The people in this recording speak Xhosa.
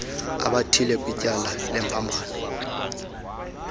abathile kwityala lembambano